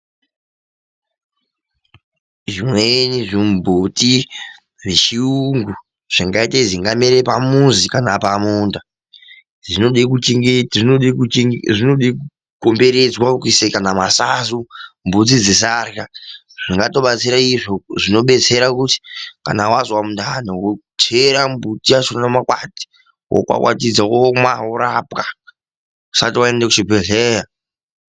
Zvimweni zvimbuti zvechiyungu zvingaite zvingamere pamuzi kana pamunda, zvinode kuchengetwa, kukomberedzwa kana kuise masanzu mbudzi dzisarya, zvingatobatsira. Izvi zvinobetsera kuti kana wazwa mundani wochera chimbuti chakhona makwati wokwakwatidza womwa worapwa usati waende kuchibhehlera.